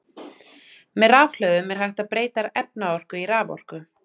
með rafhlöðum er hægt að breyta efnaorku í raforku